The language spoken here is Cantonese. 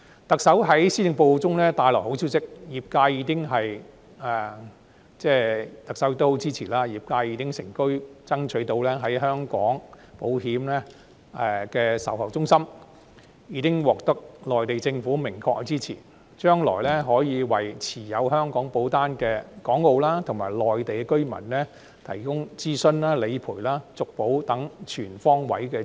特首在施政報告中帶來好消息，特首的大力支持為業界成功爭取到就香港保險設立售後服務中心，已獲內地政府明確支持，將來可為持有香港保單的港澳和內地居民提供諮詢、理賠及續保等全方位支持。